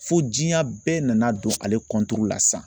Fo diɲɛ bɛɛ nana don ale la sisan.